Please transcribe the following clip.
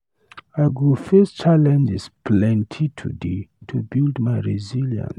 I go face challenges plenty today to build my resilience.